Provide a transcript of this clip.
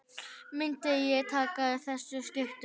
Myndi ég taka þessum skiptum?